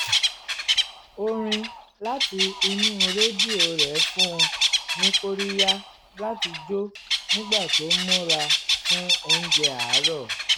orin láti inú rẹdíò rẹ̀ fún un ní kóríyá láti jó nígbà tó ń múra fún oúnjẹ àárọ̀